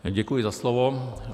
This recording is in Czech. Děkuji za slovo.